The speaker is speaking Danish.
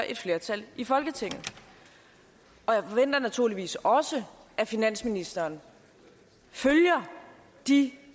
et flertal i folketinget og jeg forventer naturligvis også at finansministeren følger de